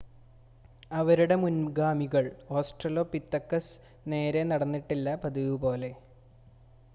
അവരുടെ മുൻഗാമികൾ ഓസ്ട്രലോപിറ്റെക്കസ് നേരെ നടന്നിട്ടില്ല പതിവുപോലെ